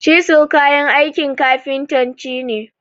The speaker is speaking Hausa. Cisil kayan aikin kafintanci ne.